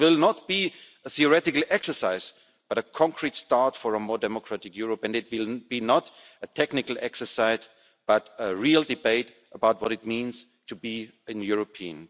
It will not be a theoretical exercise, but a concrete start for a more democratic Europe and it will not be a technical exercise, but a real debate about what it means to be a European.